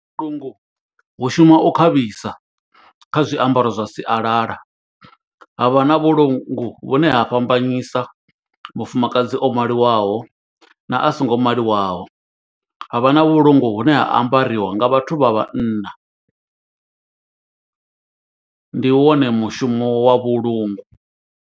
Vhulungu vhu shuma u khavhisa kha zwiambaro zwa sialala, ha vha na vhulungu vhune ha fhambanyisa mufumakadzi o maliwaho, na a songo maliwaho. Ha vha na vhulungu hune ha ambariwa nga vhathu vha vhanna, ndi wone mushumo wa vhulungu.